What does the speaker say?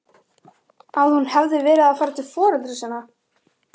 Að hún hefði verið að fara til foreldra sinna?